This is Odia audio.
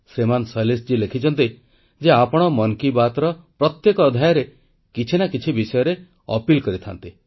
ଶ୍ରୀମାନ ଶୈଳେଶଜୀ ଲେଖିଛନ୍ତି ଯେ ଆପଣ ମନ୍ କି ବାତ୍ର ପ୍ରତ୍ୟେକ ଅଧ୍ୟାୟରେ କିଛି ନା କିଛି ବିଷୟରେ ଅନୁରୋଧ କରିଥାନ୍ତି